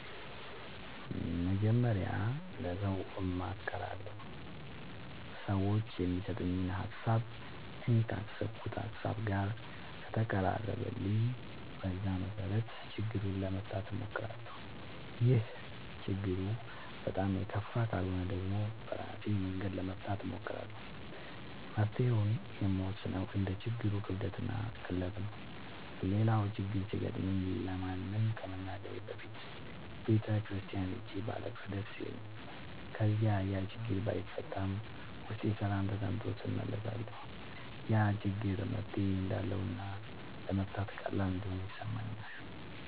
መጀመሪያ ለሠው አማክራለሁ። ሠዎቹ የሚሠጡኝ ሀሣብ እኔ ካሠብኩት ሀሳብ ጋር ከተቀራረበልኝ በዛ መሠረት ችግሩን ለመፍታት እሞክራለሁ። ችግሩ በጣም የከፋ ካልሆነ ደግሞ በራሴ መንገድ ለመፍታት እሞክራለሁ። መፍትሔውን የምወስነው እንደ ችግሩ ክብደትና ቅለት ነው። ሌላው ችግር ሲገጥመኝ ለማንም ከመናገሬ በፊት ቤተ ክርስቲያን ሄጄ ባለቅስ ደስ ይለኛል። ከዚያ ያችግር ባይፈታም ውስጤ ሠላም ተሠምቶት እመለሳለሁ። ያ ችግር መፍትሔ እንዳለውና ለመፍታት ቀላል እንደሆነ ይሠማኛል።